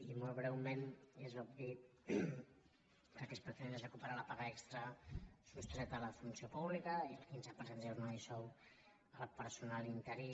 i molt breu·ment és obvi que el que es pretén és recuperar la paga extra sostreta a la funció pública i el quinze per cent de jornada i sou al personal interí